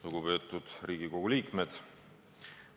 Lugupeetud Riigikogu liikmed!